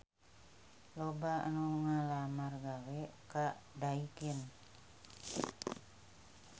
Loba anu ngalamar gawe ka Daikin